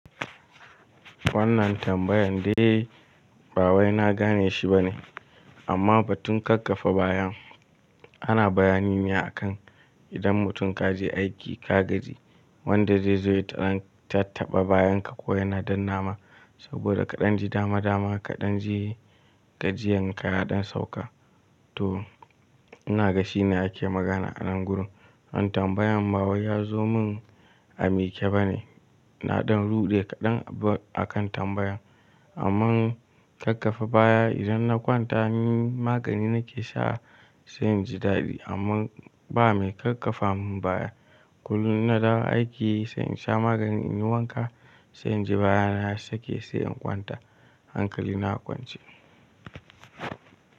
Wannan tambayan dai ba wai na gane shi bane amma ba tun kakkafa baya ana bayani me akan idan mutum ka je aiki ka gaji wanda zai zo ya tattaɓa bayan ka ko yana dan nama saboda kaɗan ji dama dama kaɗan ji gajiyan ka ya ɗan sauka to ina ga shi ne ake magana a nan gurun. Wannan tambayan ba wai ya zo mun a miƙe bane. Naɗan ruɗe kaɗan akan tambayan amma kakkafa baya idan na kwanta ni magani nake sha sai inji daɗi amma ba mai kakkafa mun baya. Kullum in na dawo aiki sai in sha magani in yi wanka sai inji baya na ya sake sai in kwanta hankali na a kwance.